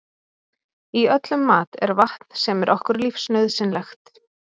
í öllum mat er vatn sem er okkur lífsnauðsynlegt